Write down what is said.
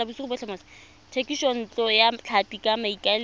thekisontle ya tlhapi ka maikaelelo